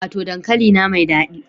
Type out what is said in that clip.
Wato dankalina mai dadi